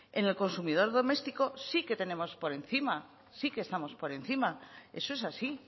en el consumidor doméstico sí que tenemos por encima sí que estamos por encima eso es así